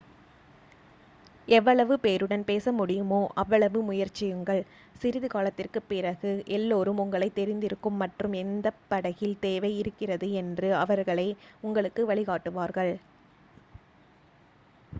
எவ்வளவு பேருடன் பேச முடியுமோ அவ்வளவு முயற்சியுங்கள் சிறிது காலத்திற்குப் பிறகு எல்லாருக்கும் உங்களைத் தெரிந்திருக்கும் மற்றும் எந்தப் படகில் தேவை இருக்கிறது என்று அவர்களே உங்களுக்கு வழிகாட்டுவார்கள்